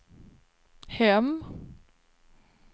hem